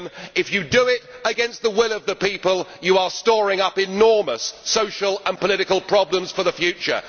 If you do it against the will of the people, you are storing up enormous social and political problems for the future.